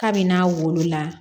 Kabini n'a wolola